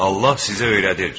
Allah sizə öyrədir.